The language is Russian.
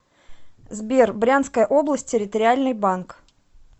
сбер брянская область территориальный банк